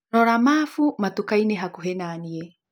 rora mabu matukainĩ hakũhi naniĩ